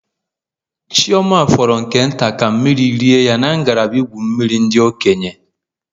Chioma fọrọ nke nta ka mmiri rie ya na ngalaba igwu mmiri ndị okenye.